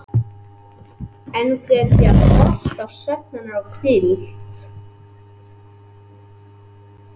Enn get ég horft á svefn hennar og hvíld.